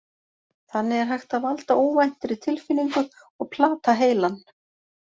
Þannig er hægt að valda óvæntri tilfinningu og plata heilann.